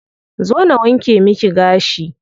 Zo na wanke miki gashi.